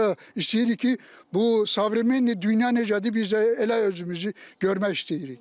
Biz də istəyirik ki, bu savremen dünya necədir, biz də elə özümüzü görmək istəyirik.